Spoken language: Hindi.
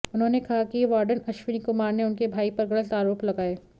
उन्होंने कहा कि वार्डन अश्वनी कुमार ने उनके भाई पर गलत आरोप लगाए